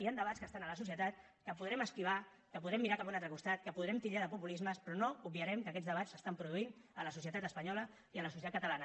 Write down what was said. hi han debats que estan a la societat que podrem esquivar que podrem mirar cap a un altre costat que podrem titllar de populismes però no obviarem que aquests debats s’estan produint a la societat espanyola i a la societat catalana